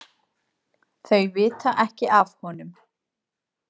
Þau vita ekki af honum.